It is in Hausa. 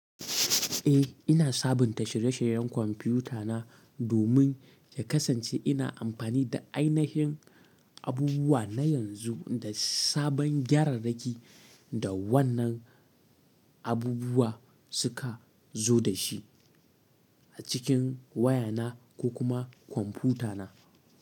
Eh, ina sabunta shirye-shiryen kwamfutana domin ya kasance ina amfani da ainihin abubuwa na yanzu da sabon gyararraki da wannan abubuwa suka zo da shi a cikin wayana ko kuma kwamfutana.